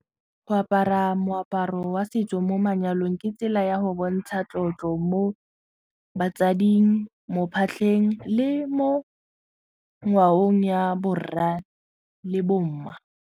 Go apara moaparo wa setso mo manyalong ke tsela ya go bontsha tlotlo mo batsading, mo phatlheng le mo ngwaong ya borra le bomma.